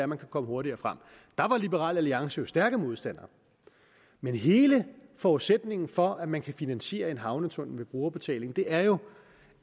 man kunne komme hurtigere frem der var liberal alliance jo stærke modstandere men hele forudsætningen for at man kan finansiere en havnetunnel ved brugerbetaling er jo